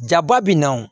Jaba bi na o